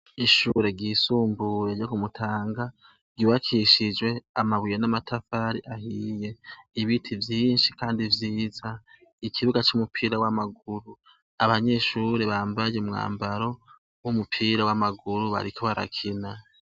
Ishure ryisumbuye ryo ku Mutanga ryubakishijwe amabuye n'amatafari ahiye. Ibiti vyinshi kandi vyiza. Ikibuga c'umupira w'amaguru abanyeshure bambaye umwambaro w'umupira w'amaguru bariko barakina.